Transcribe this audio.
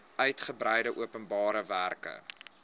uitgebreide openbare werke